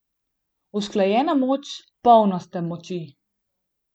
Usklajena moč, polnost te moči.